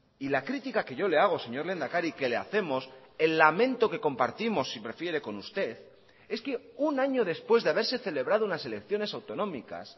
y la crítica que yo le hago señor lehendakari que le hacemos el lamento que compartimos si prefiere con usted es que un año después de haberse celebrado unas elecciones autonómicas